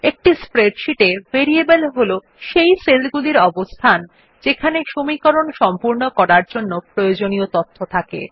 একটি স্প্রেডশীট এ ভেরিয়েবল হল সেই সেলগুলির অবস্থান যেখানে সমীকরণ সম্পূর্ণ করার জন্য প্রয়োজনীয় তথ্য থাকে